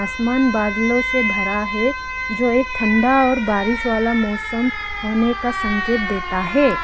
आसमान बादलों से भरा है जो एक ठंडा और बारिश वाला मौसम होने का संकेत देता है।